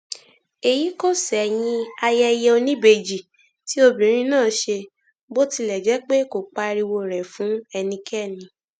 èyí kò ṣẹyìn ayẹyẹ oníbejì tí obìnrin náà ṣe bó tilẹ jẹ pé kò pariwo rẹ fún ẹnikẹni